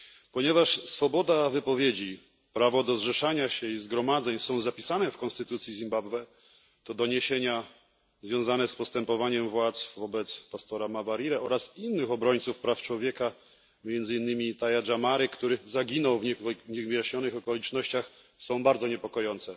Ponieważ swoboda wypowiedzi, prawo do zrzeszania się i zgromadzeń są zapisane w konstytucji Zimbabwe, to doniesienia związane z postępowaniem władz wobec pastora Mawarire oraz innych obrońców praw człowieka, między innymi Itai Dzamary, który zaginął w niewyjaśnionych okolicznościach, są bardzo niepokojące.